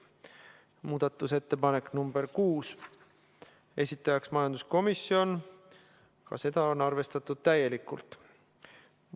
Muudatusettepanek nr 6, esitajaks majanduskomisjon, ka seda on arvestatud täielikult.